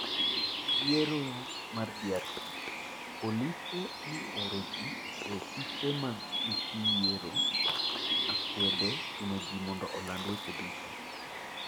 Yiero mar DRC: Polise ne ooro ji e ofise mag EC Yiero, akwede chuno ji mondo oland weche duto